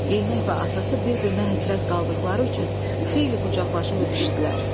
Yeyinək və atası bir-birinə həsrət qaldıqları üçün xeyli qucaqlaşıb öpüşdülər.